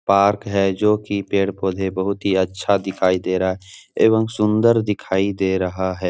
Park है जो कि पेड़-पौधे बहुत ही अच्छा दिखाई दे रहा एवं सुंदर दिखाई दे रहा है।